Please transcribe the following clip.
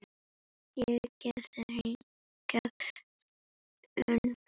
Ég giftist hingað ung